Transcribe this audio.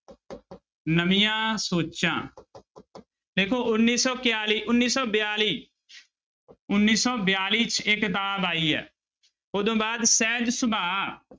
ਨਵੀਆਂ ਸੋਚਾਂ ਦੇਖੋ ਉੱਨੀ ਸੌ ਕਿਆਲੀ ਉਨੀ ਸੌ ਬਿਆਲੀ ਉੱਨੀ ਸੌ ਬਿਆਲੀ 'ਚ ਇਹ ਕਿਤਾਬ ਆਈ ਹੈ ਉਹਤੋਂ ਬਾਅਦ ਸਹਿਜ ਸੁਭਾ